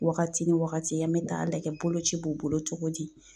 Wagati ni wagati an bɛ taa lajɛ boloci b'u bolo cogo di